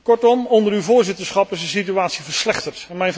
Kortom, onder uw voorzitterschap is de situatie verslechterd.